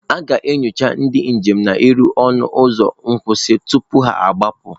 A ga-enyocha ndị njem niile n'ọnụ ụzọ nkwụsị tupu ha agbapụ.